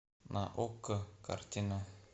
на окко картина